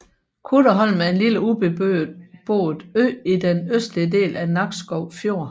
Kuddeholm er en lille ubeboet ø i den østlige del af Nakskov Fjord